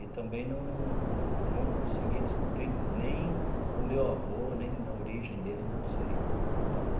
E também não não consegui descobrir nem o meu avô, nem a origem dele, não sei.